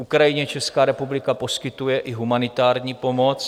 Ukrajině Česká republika poskytuje i humanitární pomoc.